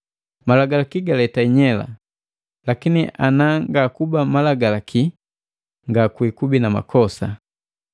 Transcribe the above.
Malagalaki galeta inyela, lakini na ngakuba malagalaki, ngakukubi na makosa.